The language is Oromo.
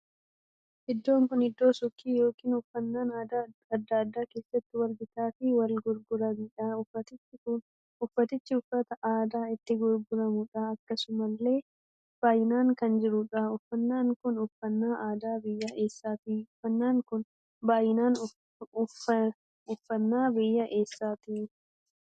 Iddoon kun iddoo suukii ykn uffannaan addaa addaa keessatti Wal bitaa fi Wal gurguraniidha. uffannichi uffata aadaa itti gurguramuudha. akkasumallee baay'inaan kan jiruudha. uffannaan kun uffannaa aadaa biyyaa eessaatti? uffannaan kun baay'inaan uffannaa biyya eessaati?